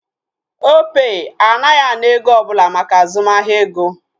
Opay anaghị ana ego ọbụla maka azụmahịa ego